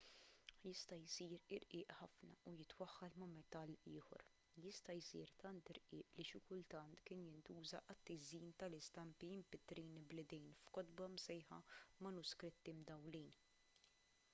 jista' jsir irqiq ħafna u jitwaħħal ma' metall ieħor jista' jsir tant irqiq li xi kultant kien jintuża għat-tiżjin tal-istampi mpittrin bl-idejn f'kotba msejħa manuskritti mdawwlin